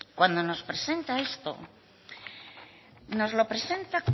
cuando nos presenta esto nos lo presenta